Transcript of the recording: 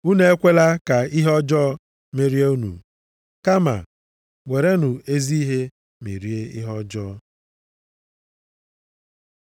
Unu ekwela ka ihe ọjọọ merie unu, kama werenụ ezi ihe merie ihe ọjọọ.